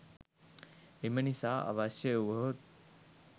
එම නිසා අවශ්‍ය වුවහොත්